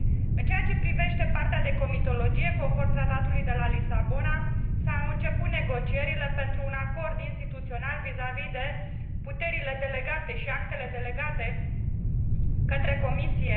În ceea ce privește partea de comitologie, conform Tratatului de la Lisabona, s au început negocierile pentru un acord instituțional vis vis de puterile delegate și actele delegate către Comisie.